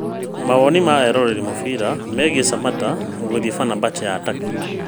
Mawoni ma eroreri a mũbira megiĩ Samatta gũthiĩ Fenerbahce ya Turkey